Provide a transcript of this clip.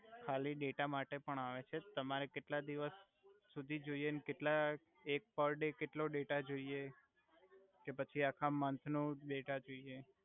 ખાલી ડેટા માટે પણ આવે છે તમારે કેટલા દિવસ સુધી જોઇએ ને કેટલા એક પર ડે કેટલો ડેટા જોઇએ કે પછી આખા મંથ નુ ડેટા જોઇએ